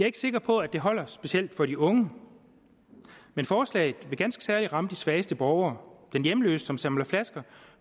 ikke sikker på at det holder specielt for de unge men forslaget vil ganske særligt ramme de svageste borgere de hjemløse som samler flasker